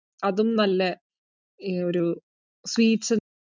അതും നല്ല ഒരു sweets